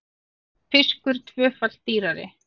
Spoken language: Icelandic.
Fiskur tvöfalt dýrari